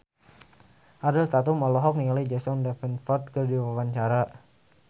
Ariel Tatum olohok ningali Jack Davenport keur diwawancara